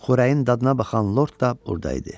Xörəyin dadına baxan lord da burda idi.